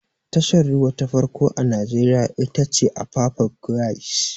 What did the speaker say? Tashar ruwa ta farko a najeriya ita ce apapa quays